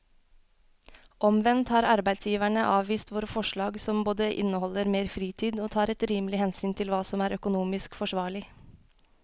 Omvendt har arbeidsgiverne avvist våre forslag som både inneholder mer fritid og tar et rimelig hensyn til hva som er økonomisk forsvarlig.